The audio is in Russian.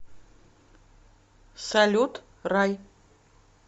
салют рай